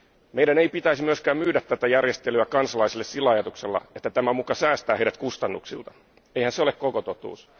Meidän ei pitäisi myöskään myydä tätä järjestelyä kansalaisille sillä ajatuksella, että tämä muka säästää heidät kustannuksilta, eihän se ole koko totuus.